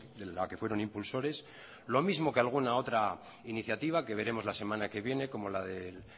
de la que fueron impulsores lo mismo que alguna otra iniciativa que veremos la semana que viene como la del